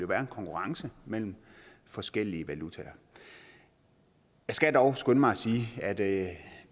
være en konkurrence mellem forskellige valutaer jeg skal dog skynde mig at sige at